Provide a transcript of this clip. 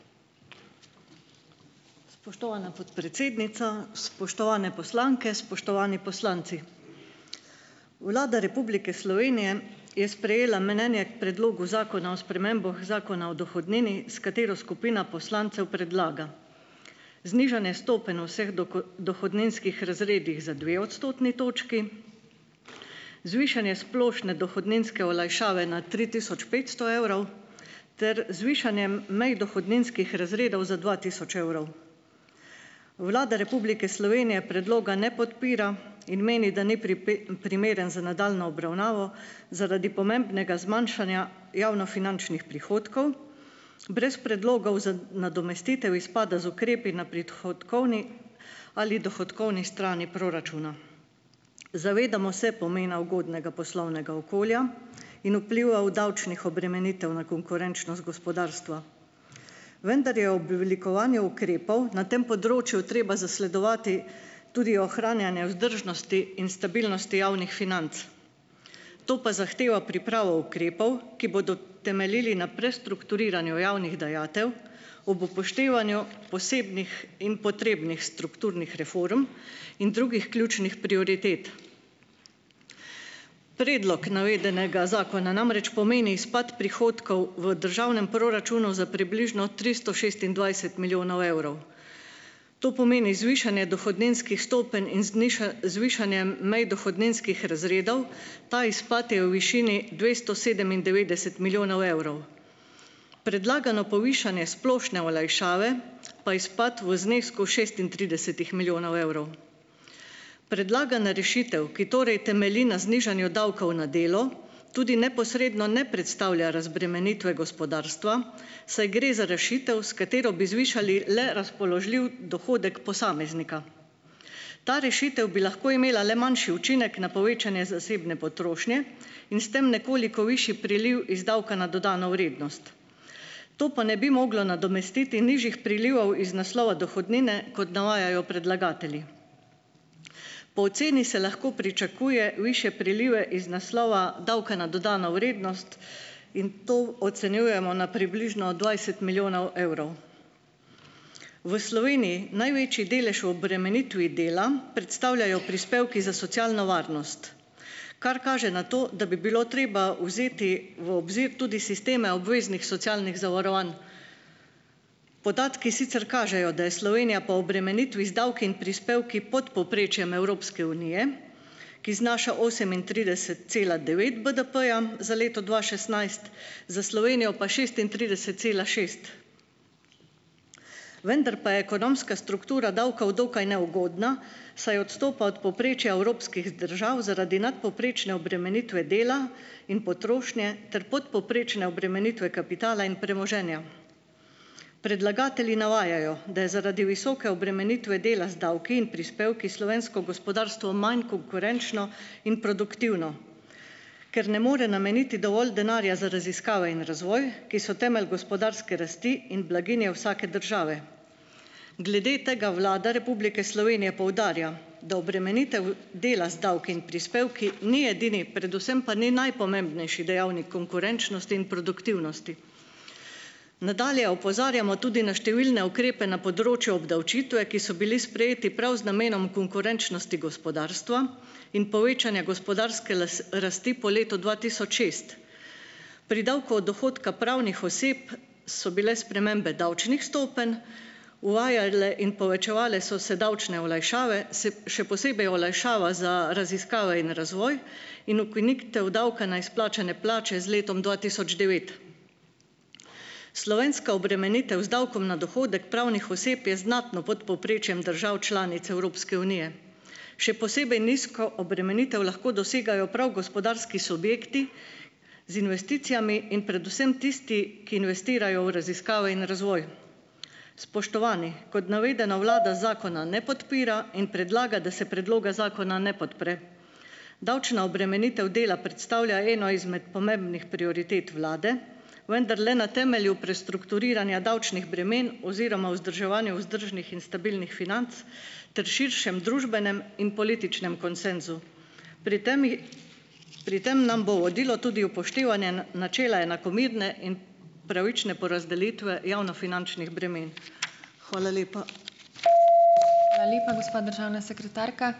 Spoštovana podpredsednica, spoštovane poslanke, spoštovani poslanci. Vlada Republike Slovenije je sprejela mnenje k Predlogu zakona o spremembah Zakona o dohodnini, s katero skupina poslancev predlaga znižanje stopenj vseh dohodninskih razredih za dve odstotni točki, zvišanje splošne dohodninske olajšave na tri tisoč petsto evrov ter zvišanje mej dohodninskih razredov za dva tisoč evrov. Vlada Republike Slovenije predloga ne podpira in meni, da ni primeren za nadaljnjo obravnavo zaradi pomembnega zmanjšanja javnofinančnih prihodkov, brez predlogov za nadomestitev izpada z ukrepi na prihodkovni ali dohodkovni strani proračuna. Zavedamo se pomena ugodnega poslovnega okolja in vpliva v davčnih obremenitev na konkurenčnost gospodarstva. Vendar je oblikovanje ukrepov na tem področju treba zasledovati tudi ohranjanja vzdržnosti in stabilnosti javnih financ, to pa zahteva pripravo ukrepov, ki bodo temeljili na prestrukturiranju javnih dajatev ob upoštevanju posebnih in potrebnih strukturnih reform in drugih ključnih prioritet. Predlog navedenega zakona namreč pomeni izpad prihodkov v državnem proračunu za približno tristo šestindvajset milijonov evrov. To pomeni zvišanje dohodninskih stopenj in zvišanje mej dohodninskih razredov. Ta izpad je v višini dvesto sedemindevetdeset milijonov evrov. Predlagano povišanje splošne olajšave pa izpad v znesku šestintridesetih milijonov evrov. Predlagana rešitev, ki torej temelji na znižanju davkov na delo, tudi neposredno ne predstavlja razbremenitve gospodarstva, saj gre za rešitev, s katero bi zvišali le razpoložljiv dohodek posameznika. Ta rešitev bi lahko imela le manjši učinek na povečanje zasebne potrošnje in s tem nekoliko višji priliv iz davka na dodano vrednost. To pa ne bi moglo nadomestiti nižjih prilivov iz naslova dohodnine, kot navajajo predlagatelji. Po oceni se lahko pričakuje višje prilive iz naslova davka na dodano vrednost in to ocenjujemo na približno dvajset milijonov evrov. V Sloveniji največji delež v obremenitvi dela predstavljajo prispevki za socialno varnost, kar kaže na to, da bi bilo treba vzeti v obzir tudi sisteme obveznih socialnih zavarovanj. Podatki sicer kažejo, da je Slovenija po obremenitvi z davki in prispevki pod povprečjem Evropske unije, ki znaša osemintrideset cela devet BDP-ja za leto dva šestnajst, za Slovenijo pa šestintrideset cela šest. Vendar pa je ekonomska struktura davkov dokaj neugodna, saj odstopa od povprečja evropskih držav zaradi nadpovprečne obremenitve dela in potrošnje ter podpovprečne obremenitve kapitala in premoženja. Predlagatelji navajajo, da je zaradi visoke obremenitve dela z davki in prispevki slovensko gospodarstvo manj konkurenčno in produktivno, ker ne more nameniti dovolj denarja za raziskave in razvoj, ki so temelj gospodarske rasti in blaginje vsake države. Glede tega Vlada Republike Slovenije poudarja, da obremenitev dela z davki in prispevki ni edini, predvsem pa ni najpomembnejši dejavnik konkurenčnosti in produktivnosti. Nadalje opozarjamo tudi na številne ukrepe na področju obdavčitve, ki so bili sprejeti prav z namenom konkurenčnosti gospodarstva in povečanja gospodarske rasti po letu dva tisoč šest. Pri davku od dohodka pravnih oseb so bile spremembe davčnih stopenj, uvajale in povečevale so se davčne olajšave, se, še posebej olajšava za raziskave in razvoj in ukinitev davka na izplačane plače z letom dva tisoč devet. Slovenska obremenitev z davkom na dohodek pravnih oseb je znatno pod povprečjem držav članic Evropske unije. Še posebej nizko obremenitev lahko dosegajo prav gospodarski subjekti, z investicijami, in predvsem tisti, ki investirajo v raziskave in razvoj. Spoštovani, kot navedeno, vlada zakona ne podpira in predlagam, da se predloga zakona ne podpre. Davčna obremenitev dela predstavlja eno izmed pomembnih prioritet vlade, vendar le na temelju prestrukturiranja davčnih bremen oziroma vzdrževanju vzdržnih in stabilnih financ ter širšem družbenem in političnem konsenzu. Pri tem je, pri tem nam bo v vodilo tudi upoštevanje na, načela enakomerne in pravične porazdelitve javnofinančnih bremen. Hvala lepa.